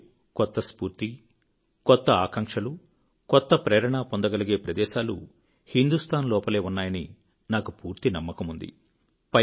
మీరు కొత్త స్ఫూర్తి కొత్త ఆకాంక్షలు కొత్త ప్రేరణ పొందగలిగే ప్రదేశాలుహిందూస్తాన్ లోపలే ఉన్నాయని నాకు పూర్తి నమ్మకముంది